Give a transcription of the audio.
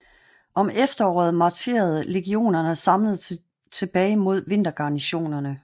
Om efteråret marcherede legionerne samlet tilbage mod vintergarnisonerne